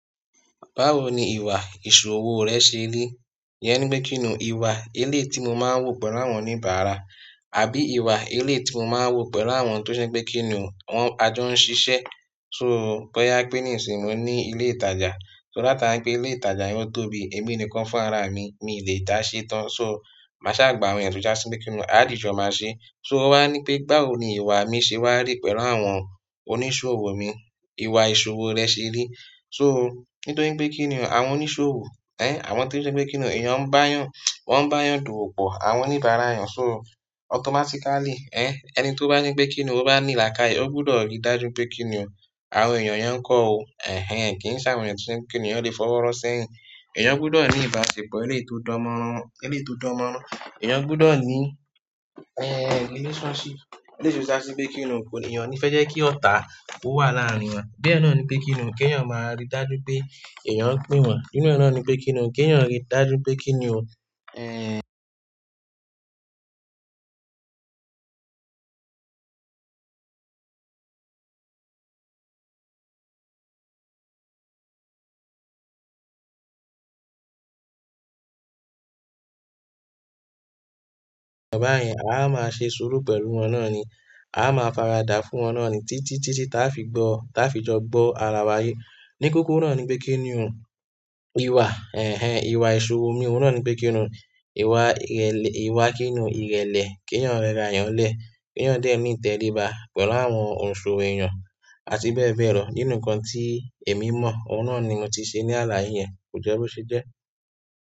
Báwo ni ìwà ìṣòwò rẹ ṣe rí? Iyẹn ni pé kí ni o ìwà eléyii tí mo máa ń wu pẹ̀lú àwọn oníbàárà, àbí ìwà eléyii tí mo máa ń wu pẹ̀lú àwọn tó je pé kí ni wọ́n ajọ ń ṣiṣẹ́. So boya pe nisinyi mo ní ilé ìtajà, so látara pé ilé ìtajà yóò tóbi, èmi ni kan fún ara mi, mi lè dáa ṣé tán. So máṣa gbà àwọn eeyan, tò ìjasí kí ni a dìjọ máa ṣe. So o wá ní pé báwo ni ìwà mi ṣe wá rí pẹ̀lú àwọn oníṣòwò mi. Ìwà ìṣòwò rẹ ṣe rí. So nítorí pé kí ni àwọn oníṣòwò, ẹ, àwọn tí o je pé kí ni o èèyàn ń bá yàn, wọ́n ń bá yàn dowo po, àwọn oníbàárà eeyàn. So automatically, ẹ, ẹni tó bá ní pé kí ni ó bá ní laakaye, ó gbọdọ̀ rí dájú pé kí ni àwọn èèyàn yàn kọ́ o. Ẹ̀hẹn, kì í ṣe àwọn eeyan tò tí kí ni eeyan le fọwọ́ rọ́ sẹ́yìn. Ẹ̀eyàn gbọdọ̀ ní ìbáṣepọ̀ eléyii to dánmọ́rán, eléyii to dánmọ́rán. Eẹ̀yàn gbọdọ̀ ní, ẹ, relationship. Èleyii to ja si pe kí ni eeyan o ni fẹ́ jẹ́ kí ọ̀tá ó wà láàárín wọn. Bí ẹ náà ni pé kí ni, kí èèyàn máa rí dájú pé èèyàn pe wọn. Inú e ẹ náà ni pé kí ni, kí èèyàn rí dájú pé kí ni o, ẹ. Ọ̀bá yẹn, a máa ṣe sùúrù pẹ̀lú wọn náà ni. A máa faradà fún wọn náà ni títí, títí táa fi gbọ́, táa fi jọ gbọ́ ara wa yé. Ní kókó náà ni pé kí ni o ìwà, ẹ̀hẹn, ìwà ìṣòwò mi. Ohun náà ni pé kí ni o ìwà ìrẹ̀lẹ̀, ìwà kí ni ìrẹ̀lẹ̀ kí èèyàn rẹra eeyàn lẹ̀. Kí èèyàn dẹ́ni ìtẹríba pẹ̀lú àwọn òǹsòwò èèyàn àti bẹ́ẹ̀ bẹ́ẹ̀ lọ. Nínú ǹkan tí èmi mọ̀, ohun náà ni mo ti ṣe ní aláyé yẹn. Kò jẹ́ bo ṣe jẹ́.